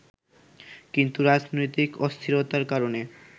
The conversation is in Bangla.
কিন্তু রাজনৈতিক অস্থিরতার কারণে